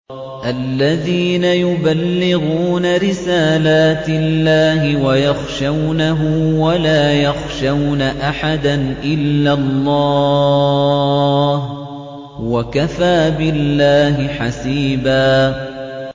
الَّذِينَ يُبَلِّغُونَ رِسَالَاتِ اللَّهِ وَيَخْشَوْنَهُ وَلَا يَخْشَوْنَ أَحَدًا إِلَّا اللَّهَ ۗ وَكَفَىٰ بِاللَّهِ حَسِيبًا